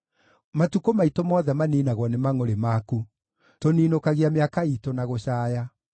Matukũ maitũ mothe maniinagwo nĩ mangʼũrĩ maku; tũninũkagia mĩaka iitũ na gũcaaya.